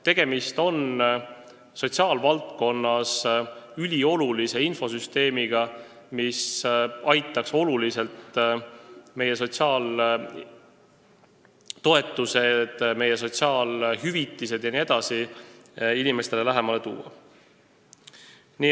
Tegemist on sotsiaalvaldkonnas üliolulise infosüsteemiga, mis aitaks sotsiaaltoetused, sotsiaalhüvitised ja muu sellise inimestele palju lähemale tuua.